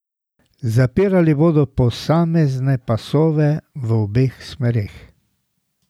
Zapirali bodo posamezne pasove v obeh smereh.